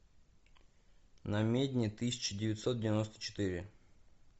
намедни тысяча девятьсот девяносто четыре